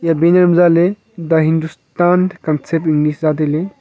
banner ma ja le the hindustan concept english the hindustan concept ja taile.